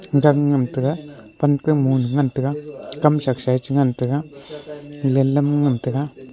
jan ngan taiga pankam mole ngan taiga Kam shaksae chingan taiga lelam ngan taiga.